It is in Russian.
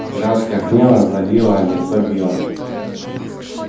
краска гнева залила лицо билла